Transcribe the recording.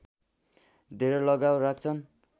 धेरै लगाव राख्छन्